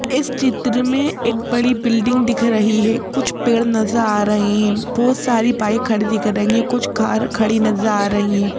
इस चित्र में एक बड़ी बिल्डिंग दिख रही हैं कुछ पेड़ नज़र आ रहे हैं बहुत सारी बाइक खड़ी दिख रही हैं कुछ कार खड़ी नज़र आ रही हैं।